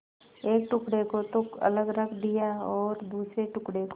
एक टुकड़े को तो अलग रख दिया और दूसरे टुकड़े को